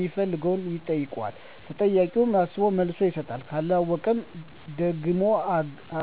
ሚፈልገውን ይጠይቃል። ተጠያቂውም አስቦ መልስ ይሰጣል። ካለወቀው ደግሞ ሀገ